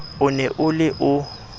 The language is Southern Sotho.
o ne o le o